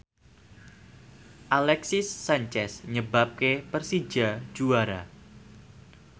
Alexis Sanchez nyebabke Persija juara